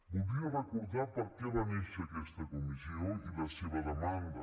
voldria recordar per què va néixer aquesta comissió i la seva demanda